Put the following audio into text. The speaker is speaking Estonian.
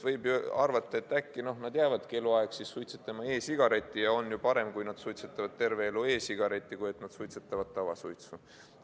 Võib arvata, et äkki nad jäävadki eluaeg suitsetama e-sigaretti ja on parem, kui nad suitsetavad terve elu e-sigaretti, kui et nad suitsetavad tavasuitsu.